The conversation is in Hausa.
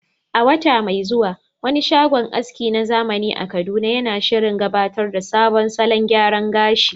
A wata mai zuwa, wani shagon aski na zamani a Kaduna yana shirin gabatar da sabon salon gyaran gashi.